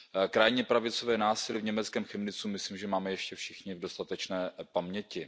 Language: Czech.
Krajně pravicové násilí v německém Chemnitzu myslím, že máme ještě všichni dostatečně v paměti.